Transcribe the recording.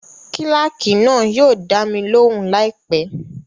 Kílákì náà yóò dá mi lóhùn láìpẹ́